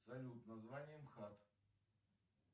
салют название мхат